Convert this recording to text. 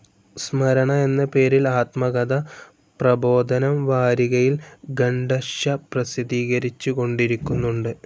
സ്മരണ എന്ന പേരിൽ ആത്മകഥ പ്രബോധനം വാരികയിൽ ഖണ്ഡശ്ശ പ്രസിദ്ധീകരിച്ചു കൊണ്ടിരിക്കുന്നുണ്ട്.